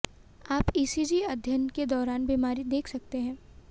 आप ईसीजी अध्ययन के दौरान बीमारी देख सकते हैं